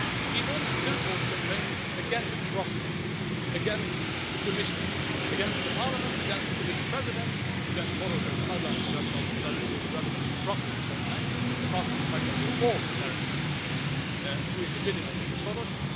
Enormous billboard campaigns against Brussels, against the Commission, against Parliament, against the Commission President, against Soros on the sidelines but that is not really relevant in the Brussels context, apart from the fact that we are all apparently doing the bidding of Mr Soros.